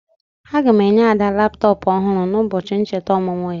Aga m enye Ada laptọpụ ọhụrụ n'ụbọchị ncheta ọmụmụ ya.